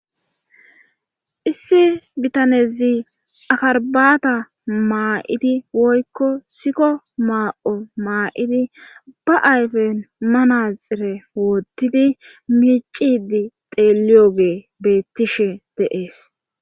Issi bitanezi akarbata maa7idi woykko sikko maa7o maa7idi ba ayfen manaxire woottidi miicidi xeeliyoge beettishe deees.